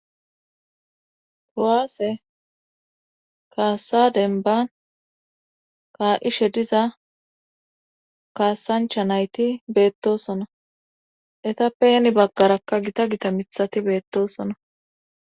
Kuwaase kaasa denban kaa'ishshe diza kaasanchcha nayti beettosona etappe hni baggarakka gita gita miiththati beettosona